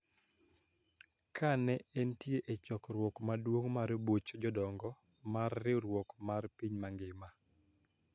Ka ne entie e chokruok maduong mar buch jodongo mar riwruok mar piny mangima,